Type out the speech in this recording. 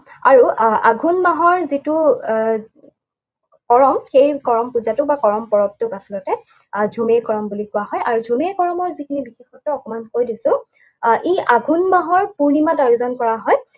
আৰু আহ আঘোণ মাহৰ যিটো আহ কৰম, সেই কৰম পূজাটোক বা কৰম পৰৱটোক আচলতে আহ ঝুমে কৰম বুলি কোৱা হয়। আৰু ঝুমে কৰমৰ যিখিনি বিশেষত্ব, অকণমান কৈ দিছো। আহ ই আঘোণ মাহৰ পূৰ্ণিমাত আয়োজন কৰা হয়।